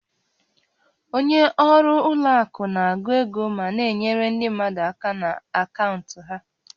Onye ọrụ ụlọ akụ na-agụ ego ma na-enyere ndị mmadụ aka na akaụntụ ha